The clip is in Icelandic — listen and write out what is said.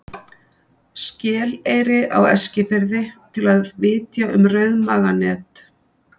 Skeleyri á Eskifirði, til að vitja um rauðmaganet.